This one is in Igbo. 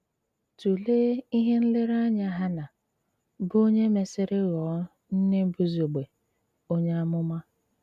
Túléé íhé nléréńáyá Háná, bụ́ ónyè mèsírí ghọọ nné Bùzùgbé ónyè àmụmá.